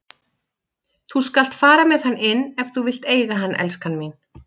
Þú skalt fara með hann inn ef þú vilt eiga hann, elskan mín.